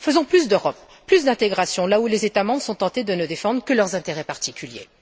Faisons plus d'Europe, plus d'intégration là où les États membres sont tentés de ne défendre que leurs intérêts particuliers.